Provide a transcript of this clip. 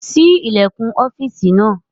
Ṣí ilẹ̀kùn ọ́fìsì náà!